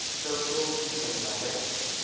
fegilwe go fih lela ge